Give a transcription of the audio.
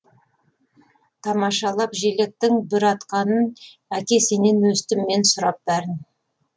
тамашалап желектің бүр атқанын әке сенен өстім мен сұрап бәрін